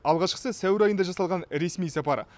алғашқысы сәуір айында жасалған ресми сапары